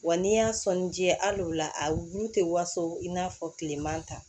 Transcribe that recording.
Wa n'i y'a sɔnni di ya al'o la a bulu tɛ waso i n'a fɔ kileman ta